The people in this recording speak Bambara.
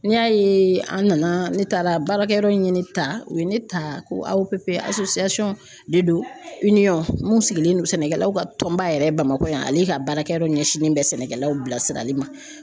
N'i y'a ye an nana ne taara baarakɛyɔrɔ in ye ne ta u ye ne ta ko AOPP de don mun sigilen don sɛnɛkɛlaw ka tɔnba yɛrɛ Bamakɔ yan ale ka baarakɛyɔrɔ ɲɛsinnen bɛ sɛnɛkɛlaw bilasirali ma